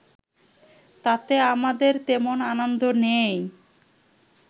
তাতে আমাদের তেমন আনন্দ নেই